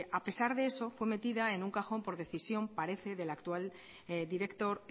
a pesar de eso fue metida en un cajón por decisión parece del actual director